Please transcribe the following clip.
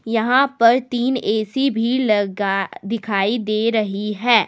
यहां पर तीन ए_सी भी लगा दिखाई दे रही है।